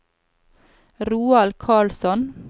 Roald Karlsson